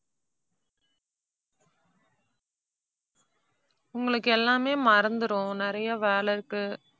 உங்களுக்கு எல்லாமே மறந்துரும், நிறைய வேலை இருக்கு.